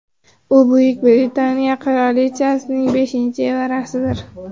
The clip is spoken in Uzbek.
U Buyuk Britaniya qirolichasining beshinchi evarasidir.